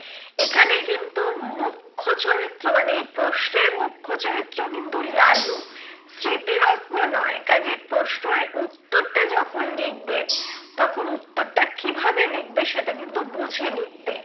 এখানেই কিন্তু মূখ্য চরিত্র মানে এই প্রশ্নের মূখ্য চরিত্র কিন্তু লালু। স্মৃতিরত্ন নয় কাজেই প্রশ্নর উত্তরটা যখন লিখবে, তখন উত্তরটা কিভাবে লিখবে সেটা কিন্তু বুঝে লিখবে।